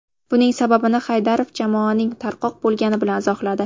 Buning sababini Haydarov jamoaning tarqoq bo‘lgani bilan izohladi.